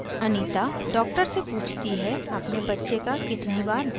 anita doctor से पूछती है अपने बच्चे का कितनी बार भरण करना चाहिए